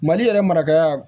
Mali yɛrɛ marakaya